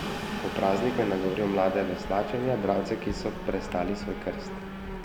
Ob prazniku je nagovoril mlade veslače in jadralce, ki so prestali svoj krst.